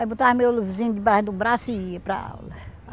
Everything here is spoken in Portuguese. Aí, botava meu livrinho debaixo do braço e ia para aula.